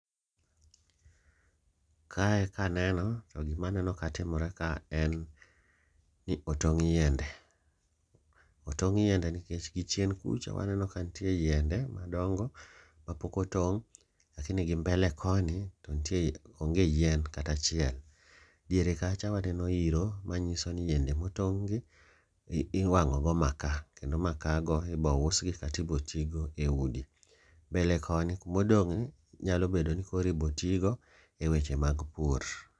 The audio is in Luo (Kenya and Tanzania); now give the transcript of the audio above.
Kae kaneno to gima aneno ka timore ka en ni otong' yiende, otong' yiende nikech gichien kucha waneno ka nitie yiende madongo ma pokotong'. Lakini gi mbele koni to nitie onge yien katachiel, diere kacha waneno iro, ma nyiso ni yiende motong' gi iwang'o go maka. Kendo maka gi ibo usgi katibo tigo e udi. Mbele koni kumodong' ni, nyalo bedo ni koro ibo tigo e weche mag pur.